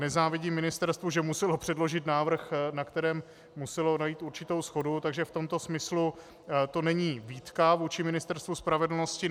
Nezávidím ministerstvu, že muselo předložit návrh, na kterém muselo najít určitou shodu, takže v tomto smyslu to není výtka vůči Ministerstvu spravedlnosti.